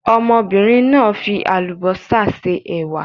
Ọmọbìnrin náà fi àlùbọ́sà se ẹ̀wà.